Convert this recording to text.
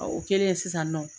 O kɛlen sisan nɔ.